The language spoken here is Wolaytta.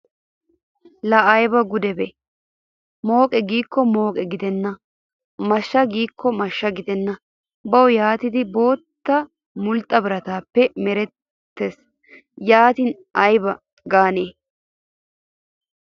Laa ayibaa gudebee! Mooqee giikko mooqe gidenna mashshee giikko mashsha gidenna bawu yaatidi boota molxxa birataappe mererttis yatin ayiba gaanee?